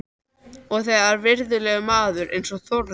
Og þegar virðulegur maður eins og Þórður